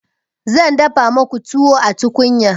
zan dafa muku tuwo a tukunya